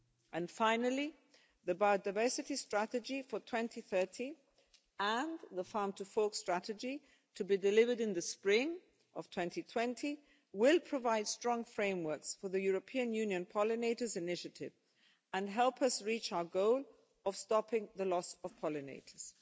And finally, the biodiversity strategy for 2030 and the Farm to Fork strategy to be delivered in the spring of 2020 will provide strong frameworks for the European Union pollinators' initiative and help us to reach our goal of stopping the loss of pollinators.